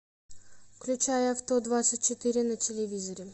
включай авто двадцать четыре на телевизоре